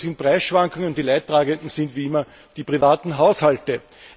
Die Folge sind Preisschwankungen, die Leidtragenden sind wie immer die privaten Haushalte.